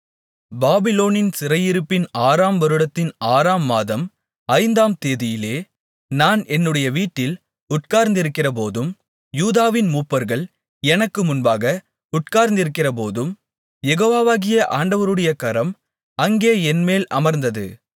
பாபிலோனின் சிறையிருப்பின் ஆறாம் வருடத்தின் ஆறாம் மாதம் ஐந்தாம்தேதியிலே நான் என்னுடைய வீட்டில் உட்கார்ந்திருக்கிறபோதும் யூதாவின் மூப்பர்கள் எனக்கு முன்பாக உட்கார்ந்திருக்கிறபோதும் யெகோவாகிய ஆண்டவருடைய கரம் அங்கே என்மேல் அமர்ந்தது